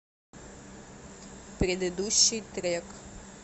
предыдущий трек